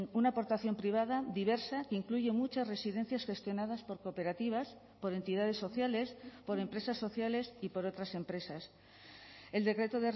una aportación privada diversa que incluye muchas residencias gestionadas por cooperativas por entidades sociales por empresas sociales y por otras empresas el decreto